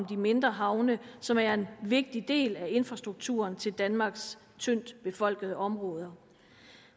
de mindre havne som er en vigtig del af infrastrukturen til danmarks tyndt befolkede områder